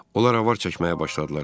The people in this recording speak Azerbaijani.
Onlar avar çəkməyə başladılar.